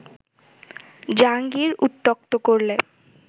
জাহাঙ্গীর উত্ত্যক্ত করলে